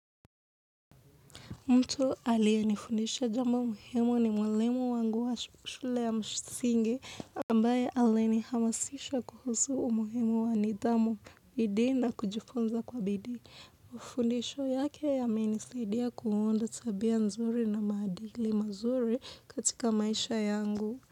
Mtu aliyenifundesha jambo muhimu ni mwalimu wangu wa shule ya msingi ambaye alinihamasisha kuhusu umuhimu wa nidhamu, bidii na kujifunza kwa bidii. Mafundesho yake yamenisaidia kuunda tabia nzuri na maadili mazuri katika maisha yangu.